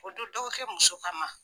O don dɔgɔ kɛ muso ka ma.